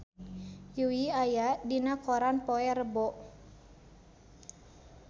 Yui aya dina koran poe Rebo